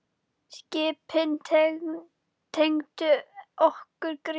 Skipin tengdu okkur Grétar.